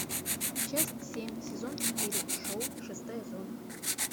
часть семь сезон четыре шоу шестая зона